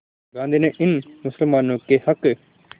गांधी ने इन मुसलमानों के हक़